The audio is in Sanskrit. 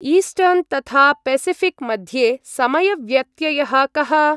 ईस्ट्र्न् तथा पेसिऴिक् मध्ये समयव्यत्ययः कः?